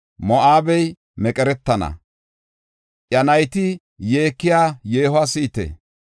Moo7abey meqeretana; iya nayti yeekiya yeehuwa si7ite!